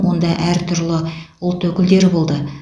онда әр түрлі ұлт өкілдері болды